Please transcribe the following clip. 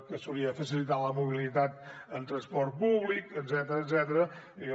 que s’hauria de facilitar la mobilitat amb transport públic etcètera